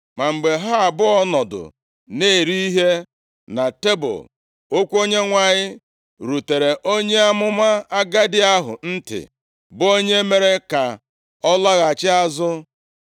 Ma mgbe ha abụọ nọdụ na-eri ihe na tebul, okwu Onyenwe anyị rutere onye amụma agadi ahụ ntị, bụ onye mere ka ọ lọghachi azụ.